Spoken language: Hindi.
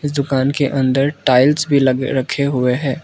दुकान के अंदर टाइल्स भी लगे रखें हुए हैं।